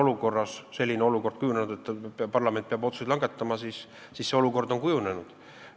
Kui küsida seda, kas on kujunenud olukord, et parlament peab otsuse langetama, siis on vastus, et see olukord on kujunenud.